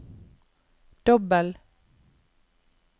dobbel